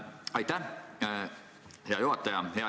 Aitäh, hea juhataja!